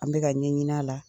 An bɛ ka ka ɲɛɲini a la